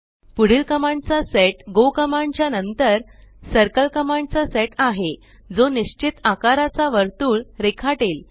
पुढील कमांड चा set go command च्या नंतर सर्कल कमांड चा सेट आहे जो निस्चित अकाराचा वर्तुळ रेखाटेल